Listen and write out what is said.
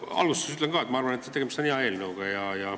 Ma alustuseks ütlen ka, et minu arvates on tegemist hea eelnõuga.